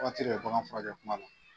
Wagati de bɛ bagan furakɛ kuma la.